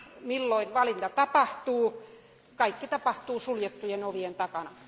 milloin valinta tapahtuu, kaikki tapahtuu suljettujen ovien takana.